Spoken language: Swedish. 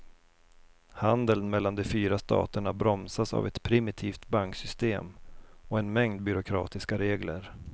Handeln mellan de fyra staterna bromsas av ett primitivt banksystem och en mängd byråkratiska regler.